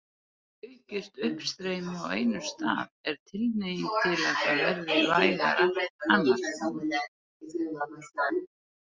Aukist uppstreymi á einum stað er tilhneiging til að það verði vægara annars staðar.